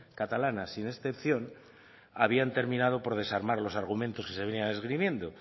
catalanas sin excepción habían terminado por desarmar los argumentos que se venían esgrimiendo